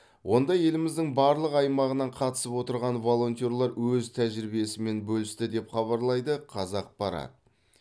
онда еліміздің барлық аймағынан қатысып отырған волонтерлар өз тәжірибесімен бөлісті деп хабарлайды қазақпарат